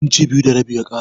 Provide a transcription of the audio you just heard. Inci biyu da rabi ya ƙara.